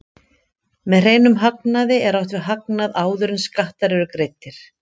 Með hreinum hagnaði er átt við hagnað áður en skattar eru greiddir.